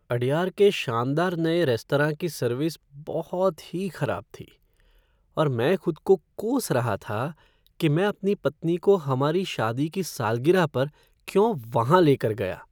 अडयार के शानदार नए रेस्तरां की सर्विस बहुत ही खराब थी और मैं खुद को कोस रहा था कि मैं अपनी पत्नी को हमारी शादी की सालगिरह पर क्यों वहाँ ले कर गया।